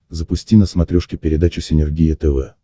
запусти на смотрешке передачу синергия тв